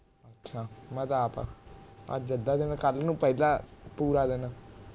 ਅੱਛਾ ਮੈ ਤਾਂ ਆਪ ਅੱਜ ਨੂੰ ਅੱਧਾ ਦਿਨ ਕੱਲ ਨੂੰ ਪੂਰਾ ਦਿਨ